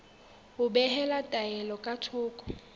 ho behela taelo ka thoko